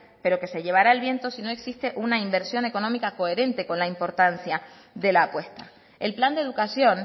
pero que se llevará el viento si no existe una inversión económica coherente con la importancia de la apuesta el plan de educación